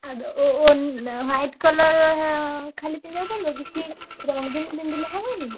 White colour ଖାଲି ପିନ୍ଧିବାକୁ ପଡିବ କିଛି ରଙ୍ଗୀନ ପିନ୍ଧିଲେ ହବନି?